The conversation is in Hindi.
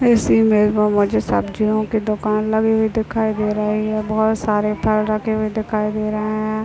इसी में बो मुझे सब्जियों की दुकान लगी हुई दिखाई दे रही हैं बहोत सारे फल रखे हुए दिखाई दे रहे हैं।